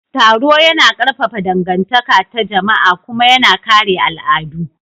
Taro yana ƙarfafa dangantaka ta jama'a kuma yana kare al'adu.